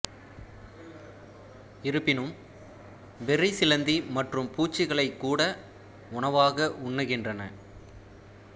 இருப்பினும் பெர்ரி சிலந்தி மற்றும் பூச்சிகளைக் கூட உணவாக உண்ணுகின்றன